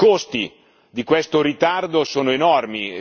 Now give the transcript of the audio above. I costi di questo ritardo sono enormi.